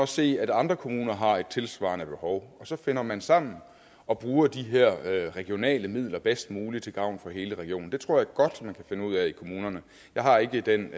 se at andre kommuner har et tilsvarende behov og så finder man sammen og bruger de her regionale midler bedst muligt til gavn for hele regionen det tror jeg godt man kan finde ud af i kommunerne jeg har ikke den